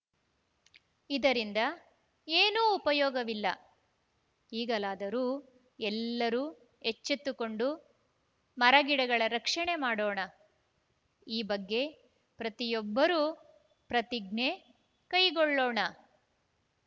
ಇದರಿಂದ ಏನೂ ಉಪಯೋಗವಿಲ್ಲ ಈಗಲಾದರೂ ಎಲ್ಲರೂ ಎಚ್ಚೆತ್ತುಕೊಂಡು ಮರಗಿಡಗಳ ರಕ್ಷಣೆ ಮಾಡೋಣ ಈ ಬಗ್ಗೆ ಪ್ರತಿಯೊಬ್ಬರೂ ಪ್ರತಿಜ್ಞೆ ಕೈಗೊಳ್ಳೋಣ